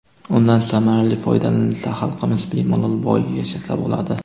Undan samarali foydalanilsa, xalqimiz bemalol boy yashasa bo‘ladi.